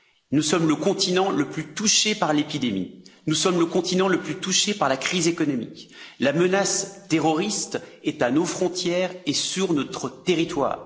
Nous sommes le continent le plus touché par l'épidémie, nous sommes le continent le plus touché par la crise économique, la menace terroriste est à nos frontières et sur notre territoire.